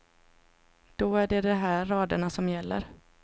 Då är det de här raderna som gäller.